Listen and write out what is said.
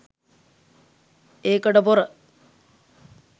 ඒකට පොර